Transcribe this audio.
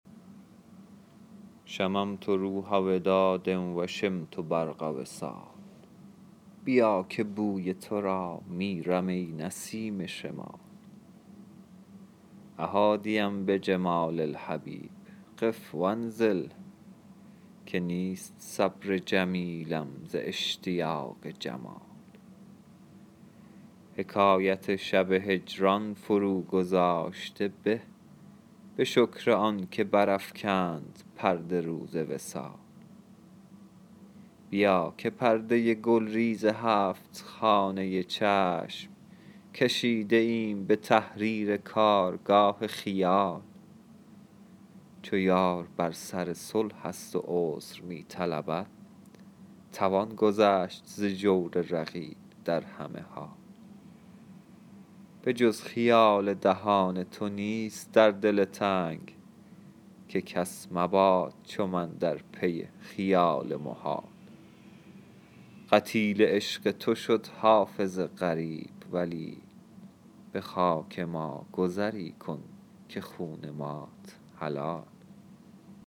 شممت روح وداد و شمت برق وصال بیا که بوی تو را میرم ای نسیم شمال أ حادیا بجمال الحبیب قف و انزل که نیست صبر جمیلم ز اشتیاق جمال حکایت شب هجران فروگذاشته به به شکر آن که برافکند پرده روز وصال بیا که پرده گلریز هفت خانه چشم کشیده ایم به تحریر کارگاه خیال چو یار بر سر صلح است و عذر می طلبد توان گذشت ز جور رقیب در همه حال به جز خیال دهان تو نیست در دل تنگ که کس مباد چو من در پی خیال محال قتیل عشق تو شد حافظ غریب ولی به خاک ما گذری کن که خون مات حلال